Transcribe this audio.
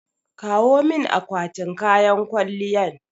Kawo min akwatin kayan kwalliyan